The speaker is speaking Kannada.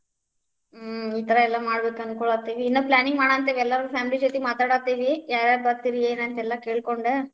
ಹ್ಮ್‌, ಈ ಥರ ಎಲ್ಲ ಮಾಡ್ಬೇಕ್ ಅನ್ಕೋಳಾತೇವಿ, ಇನ್ನ್ planning ಮಾಡಾಂತೇವಿ, ಎಲ್ಲರೂ family ಜೊತೆ ಮಾತಾಡಾತೇವಿ, ಯಾರ್ಯಾರ್ ಬರ್ತೀರಿ ಏನ್ ಅಂತ ಎಲ್ಲಾ ಕೇಳಕೊಂಡ.